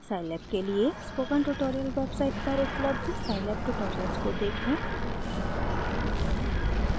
scilab के लिए spoken tutorial website पर उपलब्ध scilab tutorials को देखें